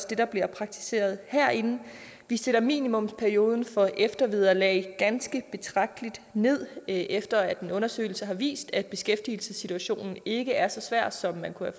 det der bliver praktiseret herinde vi sætter minimumsperioden for eftervederlag ganske betragteligt ned efter en undersøgelse har vist at beskæftigelsessituationen ikke er så svær som man kunne